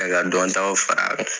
Dɔntaw fara a kan.